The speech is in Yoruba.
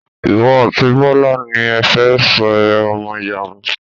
Ìwọ àti Bọ́lá ni ẹ fẹ́ ṣe ọmọ ìyàwó.